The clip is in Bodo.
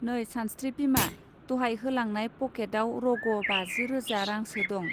नै सानस्त्रि बिमा दहाय होलांनाय पॅकेट आव रग' बाजि रोजा रांसो दं.